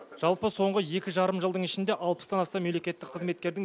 жалпы соңғы екі жарым жылдың ішінде алпыстан астам мемлекеттік қызметкердің